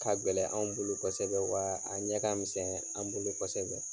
K'a gɛlɛn anw bolo kosɛbɛ waa, a ɲɛ ka misɛn an bolo kosɛbɛ?